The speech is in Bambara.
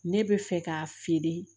Ne bɛ fɛ k'a feere